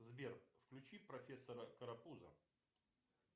сбер включи профессора карапуза